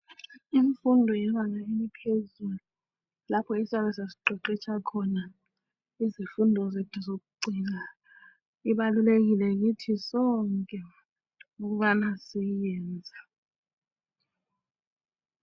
Imfundo yebanga eliphezulu lapho esiyabe sesiqeqetsha khona izifundo zethu zokucina ibalulekile kithi sonke ukubana siyenze.